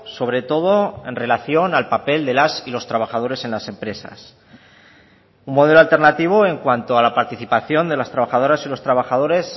sobre todo en relación al papel de las y los trabajadores en las empresas un modelo alternativo en cuanto a la participación de las trabajadoras y los trabajadores